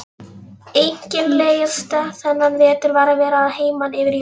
Einkennilegast þennan vetur var að vera að heiman yfir jólin.